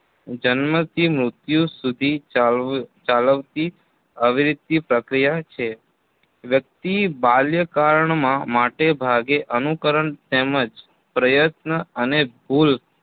જન્મથી મૃત્યુ સુધી ચાલ્વ ચાલવતી અવિરિતીય પ્રક્રિયા છે વ્યક્તિ બાલ્યકાળમાં માટેભાગે અનુકરણ તેમજ પ્રયત્ન અને ભૂલ